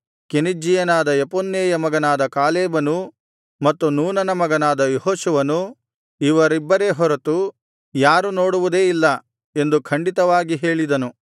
ಕೆನಿಜ್ಜೀಯನಾದ ಯೆಫುನ್ನೆಯ ಮಗನಾದ ಕಾಲೇಬನೂ ಮತ್ತು ನೂನನ ಮಗನಾದ ಯೆಹೋಶುವನೂ ಇವರಿಬ್ಬರೇ ಹೊರತು ಯಾರೂ ನೋಡುವುದೇ ಇಲ್ಲ ಎಂದು ಖಂಡಿತವಾಗಿ ಹೇಳಿದನು